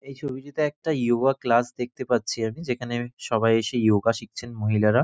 এই ছবিটিতে একটা যোগা ক্লাস দেখতে পাচ্ছি আমি যেখানে আমি সবাই এসে যোগা শিখছেন মহিলারা।